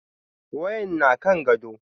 Wayan na kan gado.